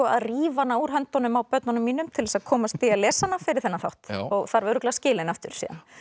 að rífa hana úr höndunum á börnunum mínum til þess að komast í að lesa hana fyrir þennan þátt og þarf örugglega að skila henni aftur